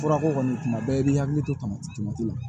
Furako kɔni tuma bɛɛ i b'i hakili to tamatimati